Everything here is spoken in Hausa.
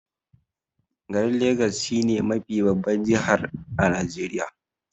Garin legas shi ne mafi babban jihar a Najeriya.